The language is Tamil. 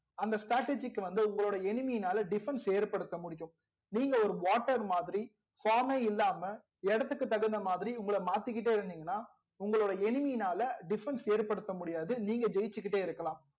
அந்த strategy க்கு வந்து உங்களோட enemy நாலா defence ஏற்படுத்த முடியும் நீங்க ஒரு water மாதிரி form மே இல்லாம ஏடத்துக்கு தகுந்தா மாதிரி உங்கள மாத்திகிட்டே இருந்திங்கனா உங்களோட enemy நாலா defence ஏற்படுத்த முடியாது நீங்க ஜெயிச்சிக்கிட்டே இருக்கலாம்